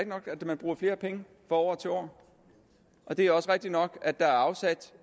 nok at man bruger flere penge fra år til år og det er også rigtigt nok at der er afsat